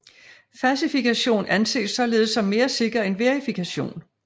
Fasifikation anses således som mere sikker end verifikation